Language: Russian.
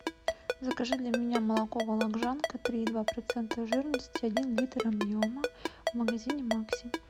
закажи для меня молоко вологжанка три и два процента жирности один литр объема в магазине макси